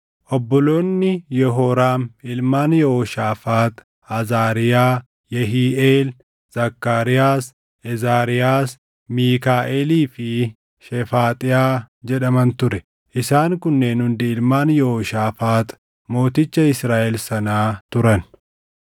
Obboloonni Yehooraam ilmaan Yehooshaafaax Azaariyaa, Yehiiʼeel, Zakkaariyaas, Ezaariyaas, Miikaaʼelii fi Shefaaxiyaa jedhaman ture. Isaan kunneen hundi ilmaan Yehooshaafaax mooticha Israaʼel sanaa turan.